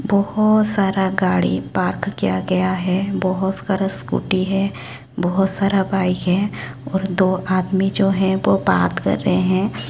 बहोत सारा गाड़ी पार्क किया गया है बहोत सारा स्कूटी है बहोत सारा बाइक है और दो आदमी जो है वो बात कर रहे हैं।